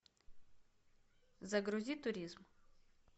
загрузи туризм